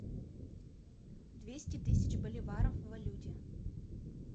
двести тысяч боливаров в валюте